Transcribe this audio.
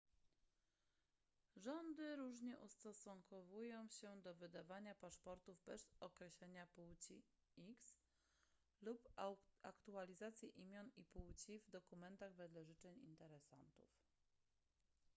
rządy różnie ustosunkowują się do wydawania paszportów bez określenia płci x lub aktualizacji imion i płci w dokumentach wedle życzeń interesantów